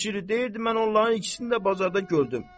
And içirik, deyirdi mən onların ikisini də bazarda gördüm.